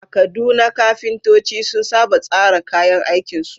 A Kaduna, kafintoci sun saba tsara kayan aikinsu.